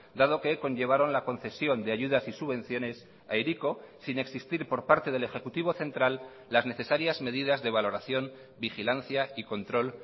dado que conllevaron la concesión de ayudas y subvenciones a hiriko sin existir por parte del ejecutivo central las necesarias medidas de valoración vigilancia y control